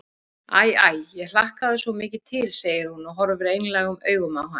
Æ, æ, ég hlakkaði svo mikið til, segir hún og horfir einlægum augum á hann.